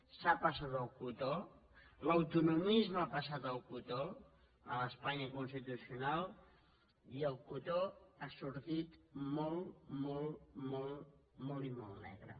s’ha passat el cotó l’autonomisme ha passat el cotó a l’espanya constitucional i el cotó ha sortit molt molt molt i molt negre